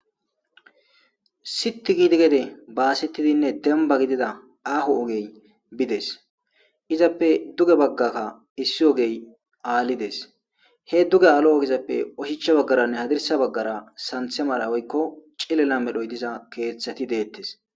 siti gidi gede baasettidinne demba gidida aho ogey bides izappe duge baggaka issi ogey aallides he duge aalo7oizappe oshicha baggaranne hadirsa baggara santhemara woykko cilela medhoy diza keeththati deettes